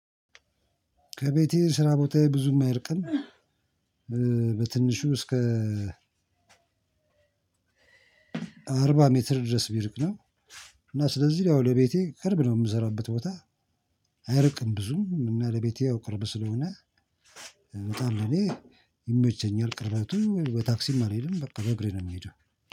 ከቤቴ ስራ ቦታዬ ብዙም አይርቅም በትንሹ እስከ አርባ ሜትር ድረስ ቢርቅ ነው። እና ስለዚህ ያው ለቤቴ ቅርብ ነው ምሰራበት ቦታ። አያርቅም ብዙም እና ለቤቴ ያው ቅርብ ስለሆነ እመጣለሁ። እኔ ይመቸኛል። ቅርበቱም በታክሲም አልሄድም በቃ በእግሬ ነው የምሄደው።